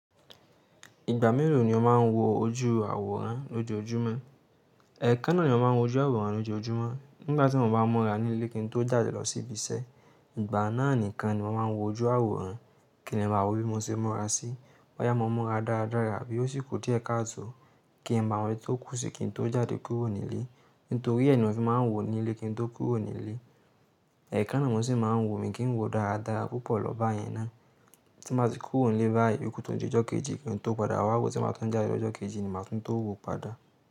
Ìgbà mélòó ni ọ máa ń wo ojú àwòrán lójoójúmọ́? Ẹ̀ẹ̀kan náà ni mo máa ń wo ojú àwòrán lójoojúmọ́. Nígbà tí mo bá múra nílé kí n tó jáde lọ sí ibiṣẹ́, ìgbà náà nìkan ni mo máa ń wo ojú àwòrán kí n lè bá wí bí mo ṣe múra sí i. Wáyà mó múra dáradára bí ó sì kù tí ẹ̀ka tó kí n máa mọ ohun tí ó kù sí kí n tó jáde kúrò nílé. Nítorí ẹ ni mòfin máa ń wò nílé kí n tó kúrò nílé. Ẹ̀ẹ̀kan náà mo sì máa ń wò mí kí n wò dáradára púpọ̀ lọ báyẹn ná. Tí mo bá ti kúrò nílé báyìí, ìyókù tó di jọ́ kejì kí n tó padà wá wo, tí máa tún jáde lọ́jọ́ kejì ni màá tún tó wò padà.